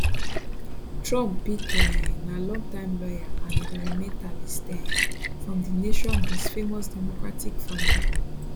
trump pick um na longtime lawyer and environmentalist um from di nation most famous democratic family